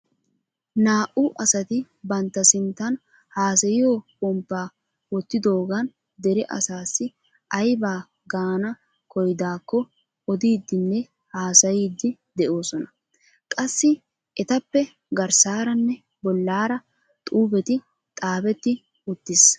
Naa"u asati bantta sinttan haasayiyoo pomppaa wottidoogan dere asasi aybaa gaana koyyidaakko odiidi nne hasayiidi de'oosona. qassi etappe garssaara nne bollaara xuufetti xaafetti uttiis.